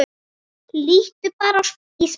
Líttu bara í spegil.